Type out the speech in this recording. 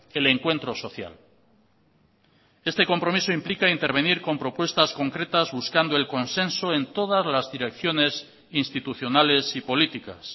el encuentro social este compromiso implica intervenir con propuestas concretas buscando el consenso en todas las direcciones institucionales y políticas